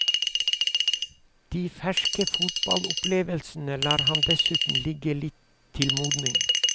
De ferske fotballopplevelsene lar han dessuten ligge litt til modning.